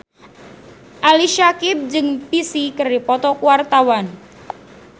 Ali Syakieb jeung Psy keur dipoto ku wartawan